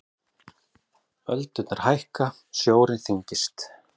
Öldurnar hækka, sjórinn þyngist.